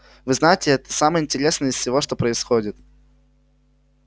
вы знаете это самое интересное из всего что происходит